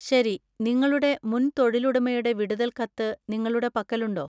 ശരി, നിങ്ങളുടെ മുൻ തൊഴിലുടമയുടെ വിടുതൽ കത്ത് നിങ്ങളുടെ പക്കലുണ്ടോ?